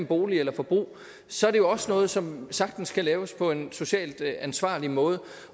bolig eller forbrug så er det jo også noget som sagtens kan laves på en socialt ansvarlig måde